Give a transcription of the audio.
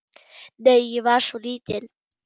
Nei, ég var svo lítil.